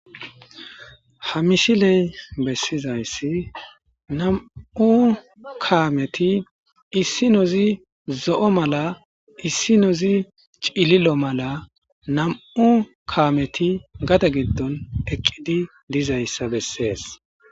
Ha misiley besizaysi nam'u kaameti issinozi zo'o mal, issinozi cililo mala nam'u kaameti gade gidonni eqidi dizaysa besesi.